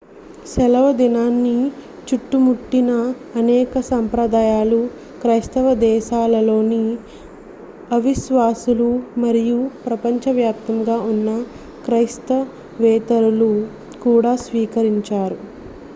సెలవుదినాన్ని చుట్టుముట్టిన అనేక సంప్రదాయాలు క్రైస్తవ దేశాలలోని అవిశ్వాసులు మరియు ప్రపంచవ్యాప్తంగా ఉన్న క్రైస్తవేతరులు కూడా స్వీకరించారు